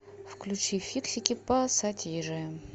включи фиксики пассатижи